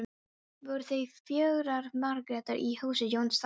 Voru því fjórar Margrétar í húsi Jóns það sumar.